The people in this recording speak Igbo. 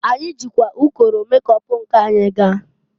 Anyị jikwa ụkọrọ mekop nke anyị gaa.